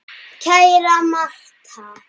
Kæra Martha.